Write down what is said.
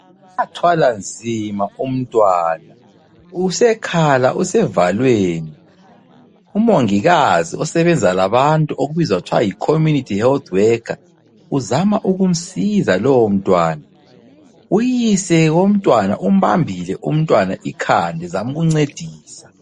Wathwala nzima umntwana. Usekhala usevalweni, umongikazi osebenza labantu obizwa kuthiwa yi- Community Health Worker, uzama ukumsiza lowomntwana. Uyise womntwana umbambile umntwana ikhanda uzama ukumncedisa.